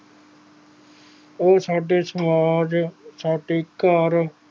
ਉਹ ਸਾਡੇ ਸਮਾਜ ਸਾਡੇ ਘਰ